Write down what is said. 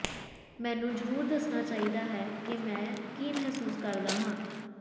ਮੈਨੂੰ ਜ਼ਰੂਰ ਦੱਸਣਾ ਚਾਹੀਦਾ ਹੈ ਕਿ ਮੈਂ ਕੀ ਮਹਿਸੂਸ ਕਰਦਾ ਹਾਂ